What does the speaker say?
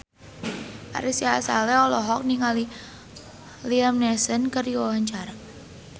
Ari Sihasale olohok ningali Liam Neeson keur diwawancara